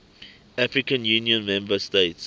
african union member states